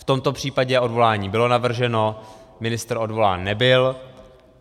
V tomto případě odvolání bylo navrženo, ministr odvolán nebyl.